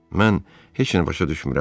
Mən heç nə başa düşmürəm.